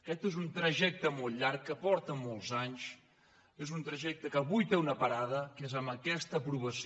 aquest és un trajecte molt llarg que porta molts anys és un trajecte que avui té una pa·rada que és aquesta aprovació